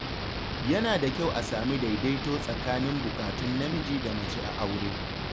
Yana da kyau a sami daidaito tsakanin buƙatun namiji da mace a aure.